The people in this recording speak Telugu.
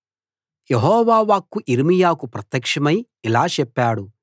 యెహోవా వాక్కు యిర్మీయాకు ప్రత్యక్షమై ఇలా చెప్పాడు